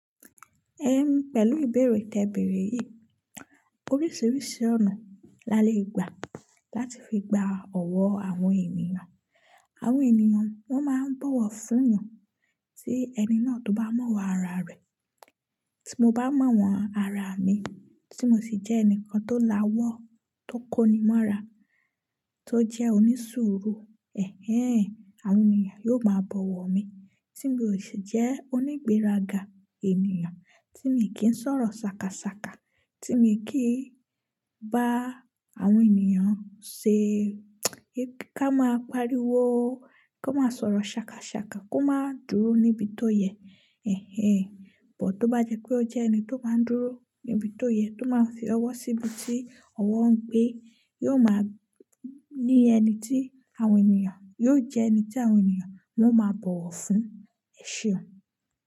Ehn, pẹ̀lú ìbéèrè tẹ ìbéèrè yìí, oríṣiríṣi ọ̀nà la lè gbà láti fi gba ọ̀wọ́ àwọn ènìyàn. Àwọn ènìyàn wọn máa ń bọ̀wọ̀ fún ènìyàn tí ẹni náà tó bá mọ̀wọ́ ara rẹ̀. Tí mo bá mọ̀wọ́n ara mi, tí mo sì jẹ́ ẹnìkan tó la ọwọ́, tó kóni mọ́ra, tó jẹ́ onísùúrù, ẹ̀hen, àwọn ènìyàn yóò máa bọ̀wọ̀ mi. Tí mi o sì jẹ́ onígbéraga ènìyàn, tí mi kì í sọ̀rọ̀ sákasàka, tí mi kì í bá àwọn ènìyàn ṣe ká máa pariwo, ka má sọ̀rọ̀ sákasàka, kó má dúró níbi tó yẹ, ẹ̀hen. Ṣùgbọ́n tó bá jẹ́ pé ó jẹ́ ẹni tó máa ń dúró níbi tó yẹ, tó máa ń fi ọwọ́ síbi tí ọwọ́ ń gbé, yóò máa ní ẹni tí àwọn ènìyàn, yóò jẹ́ ẹni tí àwọn ènìyàn wọn máa bọ̀wọ̀ fún. Ẹ ṣeun.